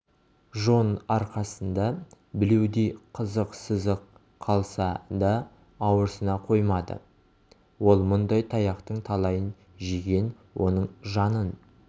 жон арқасында білеудей қызық сызық қалса да ауырсына қоймады ол мұндай таяқтың талайын жеген оның жанын